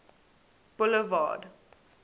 boulevard